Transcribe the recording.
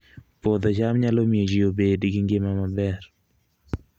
Puodho cham nyalo miyo ji obed gi ngima maber